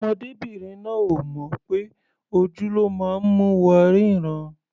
Ọmọdébìnrin náà ò mọ̀ pé ojú ló máa ń mú wa rínran.